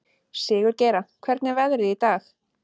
Sigurgeira, hvernig er veðrið í dag?